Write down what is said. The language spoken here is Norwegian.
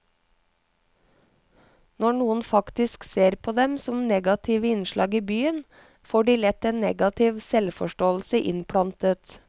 Når noen faktisk ser på dem som negative innslag i byen, får de lett en negativ selvforståelse innplantet.